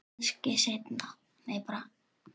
Kannski seinna.